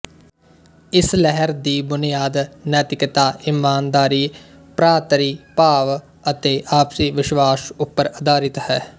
ਇਸ ਲਹਿਰ ਦੀ ਬੁਨਿਆਦ ਨੈਤਿਕਤਾ ਇਮਾਨਦਾਰੀ ਭਰਾਤਰੀ ਭਾਵ ਅਤੇ ਆਪਸੀ ਵਿਸ਼ਵਾਸ ਉੱਪਰ ਆਧਾਰਿਤ ਹੈ